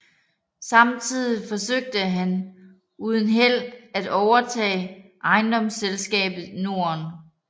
Samtidig forsøgte han uden held at overtage Ejendomsselskabet Norden